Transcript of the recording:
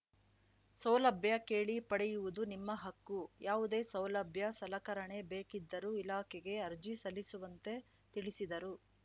ಸೌಲಭ್ಯ ಕೇಳಿ ಪಡೆಯುವುದು ನಿಮ್ಮ ಹಕ್ಕು ಯಾವುದೇ ಸೌಲಭ್ಯ ಸಲಕರಣೆ ಬೇಕಿದ್ದರೂ ಇಲಾಖೆಗೆ ಅರ್ಜಿ ಸಲ್ಲಿಸುವಂತೆ ತಿಳಿಸಿದರು